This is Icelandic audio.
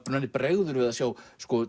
bregður við að sjá